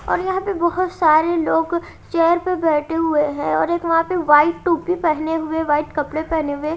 और यहां पे बहुत सारे लोग चेयर पे बैठे हुए हैं और एक वहां पे वाइट टोपी पहने हुए वाइट कपड़े पहने हुए--